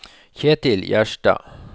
Kjetil Gjerstad